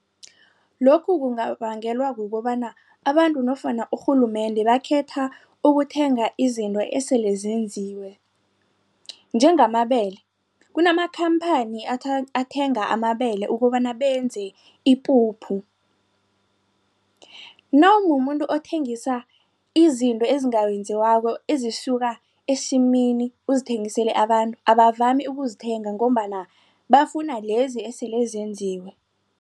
Lokhu kungabangelwa kukobana abantu nofana urhulumende bakhetha ukuthenga izinto eselezenziwe njengamabele kunamakhamphani athenga amabele ukobana benze ipuphu. Nawumumuntu othengisa izinto ezisuka esimini uzithengisele abantu abavami ukuzithenga ngombana bafuna lezi eselezenziwe.